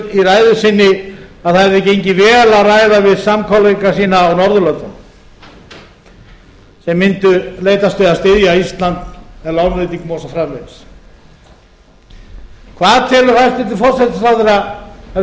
í ræðu sinni að það hefði gengið vel að ræða við samkollegana sína á norðurlöndunum þeir mundu leitast við að styðja ísland með lánveitingum og svo framvegis hverju telur hæstvirtur forsætisráðherra að við eigum von